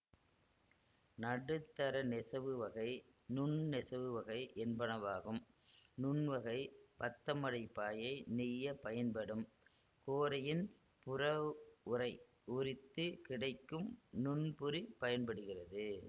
நடுத்தர நெசவு வகை நுண் நெசவு வகை என்பனவாகும் நுண்வகைப் பத்தமடை பாயை நெய்ய பயன்படும் கோரையின் புறவுறை உரித்து கிடைக்கும் நுண்புரி பயன்படுகிறது